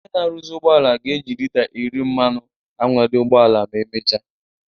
Onye na-arụzi ụgbọala ga-eji lita iri mmanụ anwale ụgbọ ala ma emechaa